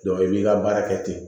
i b'i ka baara kɛ ten